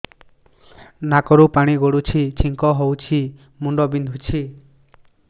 ନାକରୁ ପାଣି ଗଡୁଛି ଛିଙ୍କ ହଉଚି ମୁଣ୍ଡ ବିନ୍ଧୁଛି